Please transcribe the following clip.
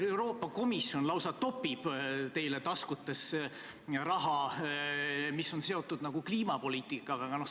Euroopa Komisjon lausa topib teile taskutesse raha, mis on seotud kliimapoliitikaga.